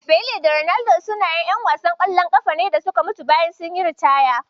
Pele da Maradona sune ƴan wasan ƙwallon ƙafa da suka mutu bayan sun yi ritaya.